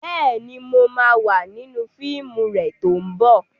Bẹ́ẹ̀ni, mo ma wà nínú fíìmù rẹ tó ń bọ̀